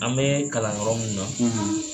An bɛɛ kalan yɔrɔ mun na